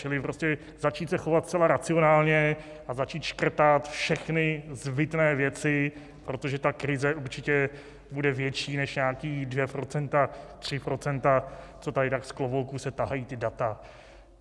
Čili prostě začít se chovat zcela racionálně a začít škrtat všechny zbytné věci, protože ta krize určitě bude větší než nějaká dvě procenta, tři procenta, co tady tak z klobouku se tahají ta data.